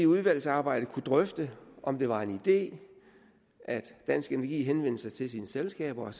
udvalgsarbejdet drøfte om det var en idé at dansk energi henvender sig til sine selskaber og